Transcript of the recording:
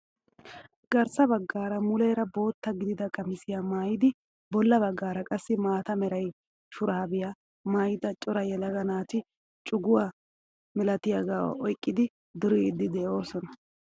Garssa baggaara muleera bootta gidida qamisiyaa maayidi bolla baggaara qassi maata mera shuraabiyaa mayida cora yelaga naati coguwaa milatiyaaga oyqqidi duriidi de'oosona.